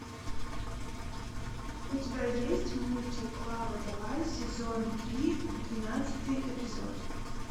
у тебя есть мультик клава давай сезон три двенадцатый эпизод